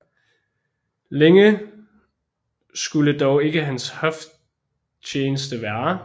Længe skulde dog ikke hans hoftjeneste vare